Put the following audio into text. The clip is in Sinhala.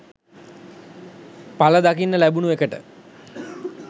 පල දකින්න ලැබුණ එකට.